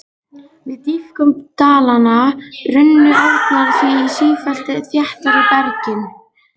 Við dýpkun dalanna runnu árnar því á sífellt þéttara bergi.